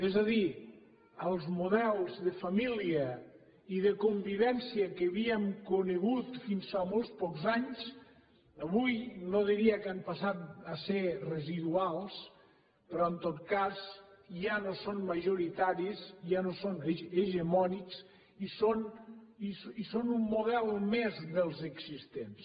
és a dir els models de família i de convivència que havíem conegut fins fa molt pocs anys avui no diria que han passat a ser residuals però en tot cas ja no són majoritaris ja no són hegemònics i són un model més dels existents